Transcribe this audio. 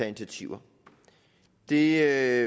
initiativer det